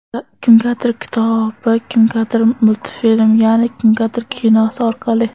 Kimgadir kitobi, kimgadir multfilmi, yana kimgadir kinosi orqali.